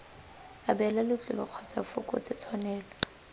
abela letlole kgotsa bfokotse tshwanelo